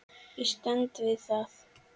Ég stend við það.